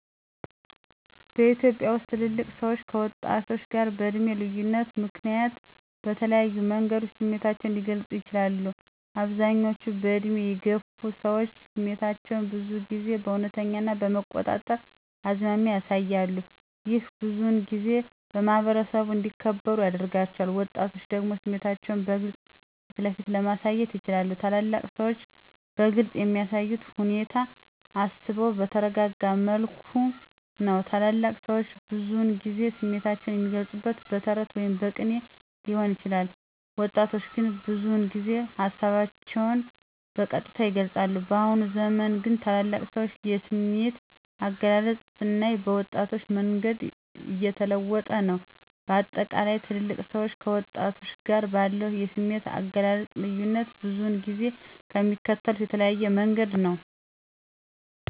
በኢትዮጵያ ውስጥ ትልልቅ ሰዎች ከወጣቶች ጋር በዕድሜ ልዩነት ምክንያት በተለያዩ መንገዶች ስሜታቸውን ሊገልጹ ይችላሉ፦ አብዛኞቹ በዕድሜ የገፉ ሰዎች ስሜታቸውን ብዙ ጊዜ በእውነተኛ ና በመቆጣጠር አዝማሚያ ያሳያሉ። ይህ ብዙውን ጊዜ በማኅበረሰቡ እንዲከበሩ ያደርጋቸዋል። ወጣቶች ደግሞ ስሜታቸውን በግልጽ ፊትለፊት ለማሳየት ይችላሉ። ታላላቅ ሰዎች በግልፅ የሚያሳዩት ሁኔታ አስበው በተረጋጋ መልኩ ነው። ታላላቅ ሰዎች ብዙውን ጊዜ ስሜታቸውን የሚገልፁት በተረት ወይም በቅኔ ሊሆን ይችላል። ወጣቶች ግን ብዙ ጊዜ ሀሳባቸውን በቀጥታ ይገልፃሉ። በአሁኑ ዘመን ግን ታላላቅ ሰዎች የስሜት አገላለጽ ስናይ በወጣቶች መንገድ እየተለወጠ ነው። በአጠቃላይ ትልልቅ ሰዎች ከወጣቶች ጋር ባለው የስሜት አገላለጽ ልዩነት ብዙውን ጊዜ የሚከተሉት የተለያየ መንገድ ነው።